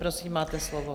Prosím, máte slovo.